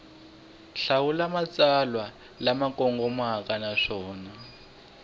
hlawula matsalwa lama kongomeke naswona